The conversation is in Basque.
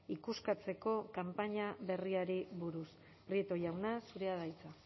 ikuskatzeko kanpaina berriari buruz prieto jauna zurea da hitza